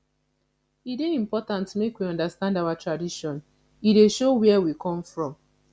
e dey important make we understand our tradition e dey show where we come from